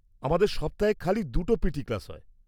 -আমাদের সপ্তাহে খালি দুটো পিটি ক্লাস হয়।